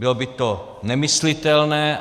Bylo by to nemyslitelné.